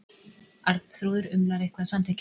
Arnþrúður umlar eitthvað samþykkjandi.